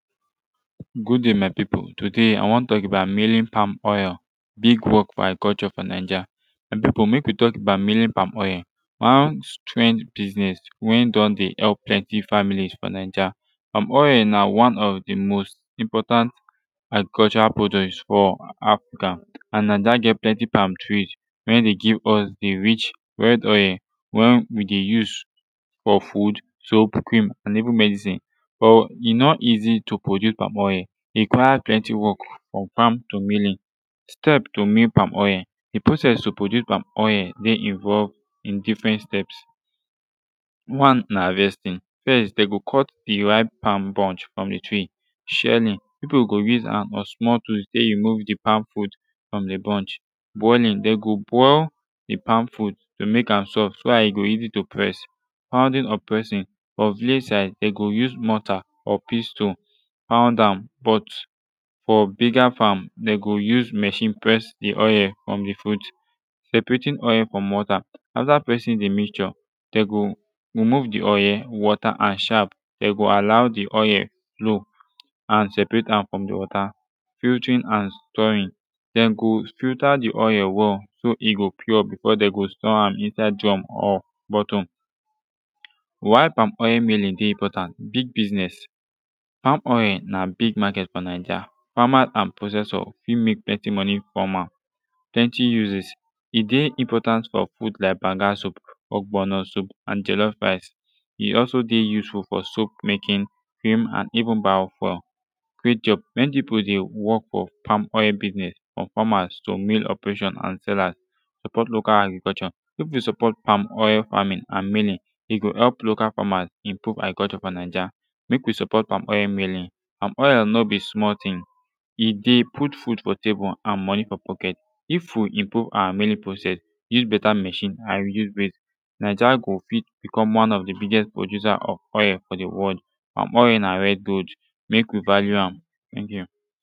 good dai my pipu todai i wan tok about milling palm oil big wok fo agriculture fo naija my pipu mek wi tok about milling palm oil one strange biznez wen don de help plenti families fo naija palm oil na one of de most important agricultural produce fo african and na dem get plenti pam trees wen dey give us de rich red oil wen wi de use fo food soap cream an even medicine but e no easi to produce palm oil e require plenti wok frum fam to miling step to mill palm oil de process to produce pam oil de involved in difren step one na havestin fess dem go cut de ripe pam bunch frum de tree shelling pipu go use hand or small tools tek remove de palm fruit frum de bunch boiling dem go boil de palm fruit to mek am soft so dat e go easi to press pounding or pressing fo village side dem go use morta or pestle pound am but fo bigger fam dem go use machine press de oil frum de fruit separating oil frum water afta pressing de mixture dey go remove de oil water and shaff dem go allow de oil flow and seperate am frum de water filtering and storing dem go filter de oil well so e go pure befor dem go store am well inside drum or bottle why palm oil biznez dey important big bisnez palm oil na big maket fo naija famas and processors fit mek plenti monie frum am plenti uses e dey important fo food lik banga soup ogbono soup and jelof rice e also de useful fo soap making and even buy fuel create job mani pipu de wok fo palm oil bisnez or famas or mill operators or sellers support local agriculture mek wi support palm oil faming and milling e go help local famas improve agriculture fo naija mek wi support palm oil miling palm oil no bi small tin e de put food fo table and monie fo pocket if wi improve awa miling process use beta machne and reduce waste naija go fit becum one of de biggest producer of oil fo de world palm oil na red gold mek wi value am teink yu